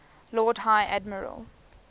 lord high admiral